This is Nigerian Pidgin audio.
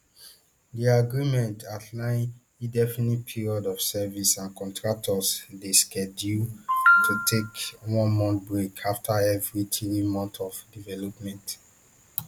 di agreement outline indefinite period of service and contractors dey scheduled to take onemonth break afta every three months of deployment